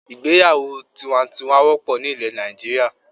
Ìgbéyàwó tiwantiwan wópò ni ilè Nàìjíríà